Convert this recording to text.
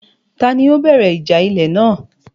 Ta ni ó bẹ̀rẹ̀ ìjà ilẹ̀ náà?